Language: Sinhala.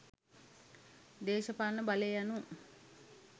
දේශපාලන බලය යනු